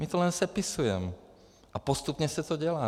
My to jen sepisujem a postupně se to dělá.